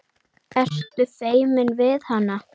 Ertu feiminn við hana?